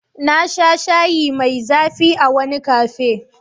Na sha shayi mai zafi ☕️ a wani cafe.